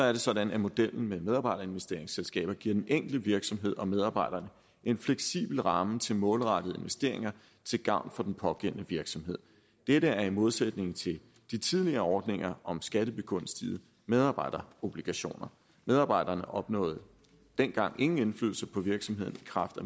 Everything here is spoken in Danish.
er det sådan at modellen med medarbejderinvesteringsselskaber giver den enkelte virksomhed og medarbejderne en fleksibel ramme til målrettede investeringer til gavn for den pågældende virksomhed dette er i modsætning til de tidligere ordninger om skattebegunstigede medarbejderobligationer medarbejderne opnåede dengang ingen indflydelse på virksomheden i kraft af